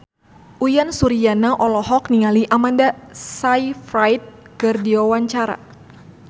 Uyan Suryana olohok ningali Amanda Sayfried keur diwawancara